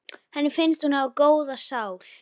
Henni finnst hún hafa góða sál.